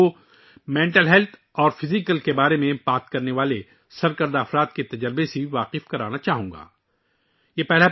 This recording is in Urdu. میں آپ کے ساتھ ایسے معروف لوگوں کے تجربات بھی شیئر کرنا چاہتا ہوں جو جسمانی اور ذہنی صحت کے بارے میں بات کرتے ہیں